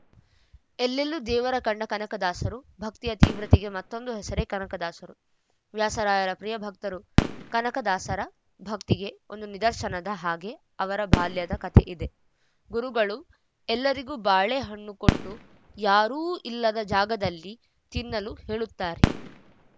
ಎಲ್ಲೆಲ್ಲೂ ದೇವರ ಕಂಡ ಕನಕದಾಸರು ಭಕ್ತಿಯ ತೀವ್ರತೆಗೆ ಮತ್ತೊಂದು ಹೆಸರೇ ಕನಕದಾಸರು ವ್ಯಾಸರಾಯರ ಪ್ರಿಯ ಭಕ್ತರು ಕನಕ ದಾಸರ ಭಕ್ತಿಗೆ ಒಂದು ನಿದರ್ಶನದ ಹಾಗೆ ಅವರ ಬಾಲ್ಯದ ಕತೆ ಇದೆ ಗುರುಗಳು ಎಲ್ಲರಿಗೂ ಬಾಳೆ ಹಣ್ಣು ಕೊಟ್ಟು ಯಾರೂ ಇಲ್ಲದ ಜಾಗದಲ್ಲಿ ತಿನ್ನಲು ಹೇಳುತ್ತಾರೆ